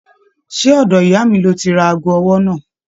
Ṣe ọ̀dọ̀ ìyá mí lọ tí rà aago ọwọ náà?